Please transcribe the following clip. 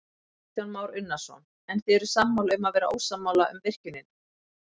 Kristján Már Unnarsson: En þið eruð sammála um að vera ósammála um virkjunina?